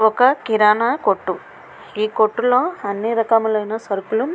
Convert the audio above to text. ఒక కిరాణ కొట్టు ఎ కొట్టులో అన్ని రకములైన సరకులు --